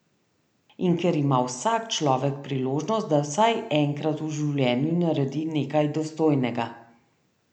In ker ima vsak človek priložnost, da vsaj enkrat v življenju naredi nekaj dostojnega.